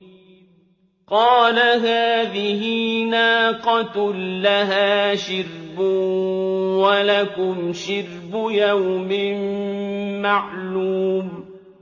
قَالَ هَٰذِهِ نَاقَةٌ لَّهَا شِرْبٌ وَلَكُمْ شِرْبُ يَوْمٍ مَّعْلُومٍ